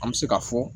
An bɛ se ka fɔ